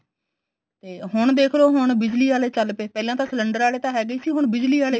ਤੇ ਹੁਣ ਦੇਖਲੋ ਹੁਣ ਬਿਜਲੀ ਆਲੇ ਚੱਲ ਪਏ ਪਹਿਲਾਂ ਤਾਂ cylinder ਵਾਲੇ ਤਾਂ ਹੈਗੇ ਸੀ ਹੁਣ ਬਿਜਲੀ ਵਾਲੇ